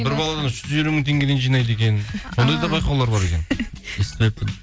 бір баладан үш жүз елу мың теңгеден жинайды екен сондай да байқаулар бар екен естімеппін